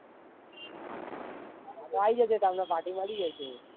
આઈ જશે તાણ party મળી જસે.